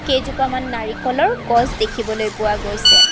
কেইজোপামান নাৰিকলৰ গছ দেখিবলৈ পোৱা গৈছে।